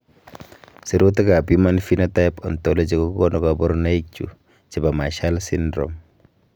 Sirutikab Human Phenotype Ontology kokonu koborunoikchu chebo Marshall syndrome.